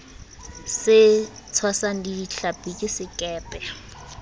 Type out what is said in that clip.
se tshwasang dihlapi ke sekepe